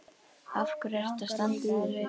Af hverju ertu að standa í þessu?